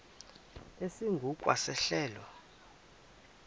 esingu kwa sehlelo